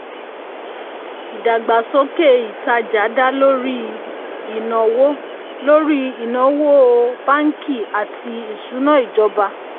ìdàgbàsókè ìtajà dá lórí ìnáwó lórí ìnáwó báńkì àti ìṣúnná ìjọba.